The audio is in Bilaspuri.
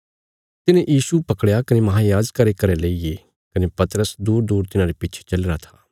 तिन्हे यीशु पकड़या कने महायाजका रे घरें लेईगे कने पतरस दूरदूर तिन्हारे पिच्छे चलीरा था